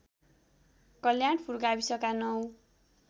कल्याणपुर गाविसका ९